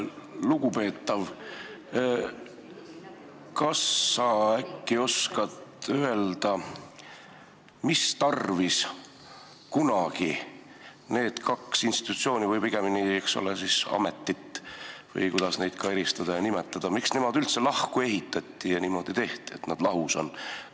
Lugupeetav, kas sa äkki oskad öelda, mistarvis kunagi need kaks institutsiooni või ametit – või kuidas neid ka nimetada – üldse lahku ehitati ja niimoodi tehti, et nad lahus on?